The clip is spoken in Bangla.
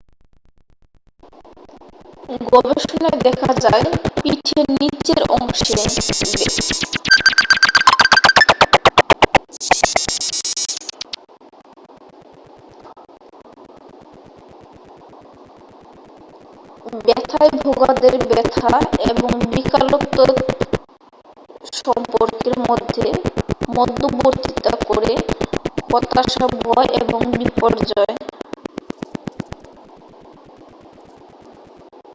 গবেষণায় দেখা যায় পিঠের নীচের অংশে ব্যাথায় ভোগাদের ব্যাথা এবং বিকলত্বের সম্পর্কের মধ্যে মধ্যবর্তীতা করে হতাশা ভয় এবং বিপর্যয়